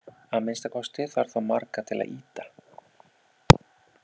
Að minnsta kosti þarf þá marga til að ýta!